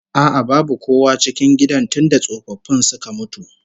A'a babu kowa a cikin gidan tunda tsofaffin suka mutu